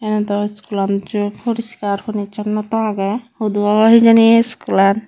ene dw school an j porishkar porichonnota age hudu obo hijeni a school an.